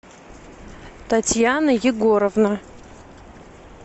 татьяна егоровна